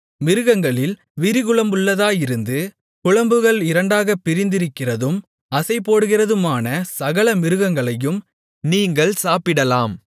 மிருகங்களில் விரிகுளம்புள்ளதாயிருந்து குளம்புகள் இரண்டாகப் பிரிந்திருக்கிறதும் அசைபோடுகிறதுமான சகல மிருகங்களையும் நீங்கள் சாப்பிடலாம்